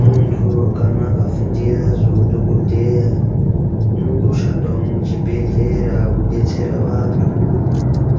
Muntu kana akafundira zvehudhokodheya unongoshandawo muzvibhedhlera kudetsera antu